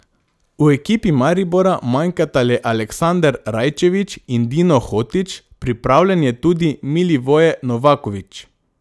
V ekipi Maribora manjkata le Aleksander Rajčević in Dino Hotić, pripravljen je tudi Milivoje Novakovič.